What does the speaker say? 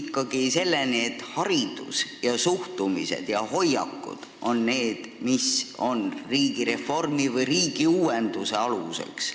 ikkagi selleni, et haridus, suhtumised ja hoiakud on need, mis on riigireformi või riigiuuenduse aluseks.